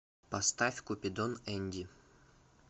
поставь купидон энди